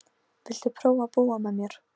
Viltu prófa að búa með mér.